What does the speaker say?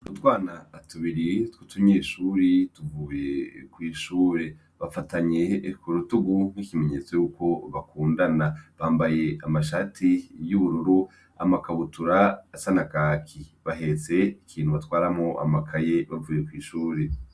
Utwana tubiri tw'utunyeshure tuvuye kw'ishure. Bafatanye ku rutugu nk'ikimenyetso cuko bakundana. Bambaye amashati y'ubururu n'amakabutura asa na kaki bahetse ikintu batwaramwo amakaye bavuye kw'ishure.